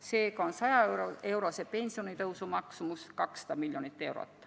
Seega on 100-eurose pensionitõusu maksumus 200 miljonit eurot.